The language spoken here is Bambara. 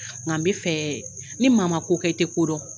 Nka n bi fɛ ni maa ma ko kɛ, i ti kodɔn.